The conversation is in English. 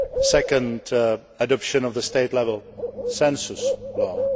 secondly, the adoption of the state level census law